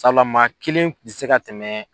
Sala maa kelen kun tɛ se ka tɛmɛ